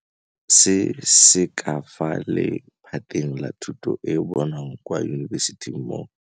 Se se ka fa lephateng la thuto e e bonwang kwa yunibesithing mo.